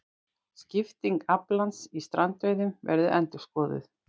Skipting aflans í strandveiðum verði endurskoðuð